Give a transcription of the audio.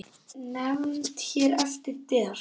Nefnd hér eftir: Der